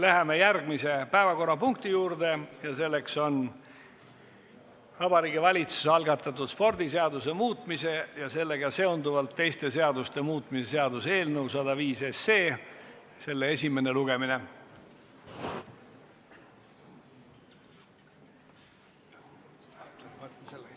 Läheme järgmise päevakorrapunkti juurde: Vabariigi Valitsuse algatatud spordiseaduse muutmise ja sellega seonduvalt teiste seaduste muutmise seaduse eelnõu 105 esimene lugemine.